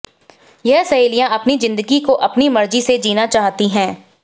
यह सहेलिया अपनी जिंदगी को अपनी मर्जी से जीना चाहती है